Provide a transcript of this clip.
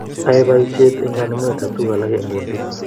Ae poishek eng kanemunet ap tuguk alak eng kundit